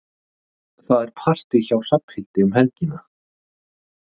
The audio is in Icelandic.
Það er partí hjá Hrafnhildi um helgina.